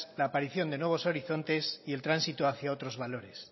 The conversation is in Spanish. la aparición de nuevos horizontes y el tránsito hacia otros valores